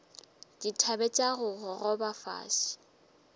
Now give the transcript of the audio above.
dithabe tša go gogoba fase